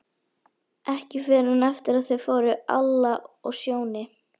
Ekki fyrr en eftir að þau fóru, Alla og Sjóni.